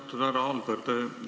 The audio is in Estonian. Austatud härra Alber!